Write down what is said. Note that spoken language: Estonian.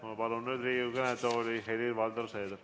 Ma palun Riigikogu kõnetooli Helir-Valdor Seederi.